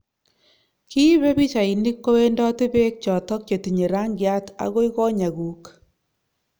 Kiipe pichainik kowendoti beek chotok chetinye rangiat agoi konyekuk